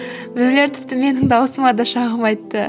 біреулер тіпті менің дауысыма да шағым айтты